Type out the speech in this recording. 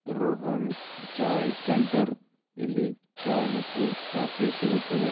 Rohan chai centre ಇಲ್ಲಿ ಚಾಯ್‌ ಮತ್ತು coffee ಸಿಗುತ್ತದೆ.